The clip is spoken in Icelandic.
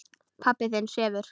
Pabbi þinn sefur.